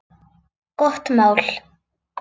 Gott mál.